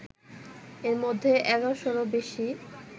এর মধ্যে ১১শ'রও বেশি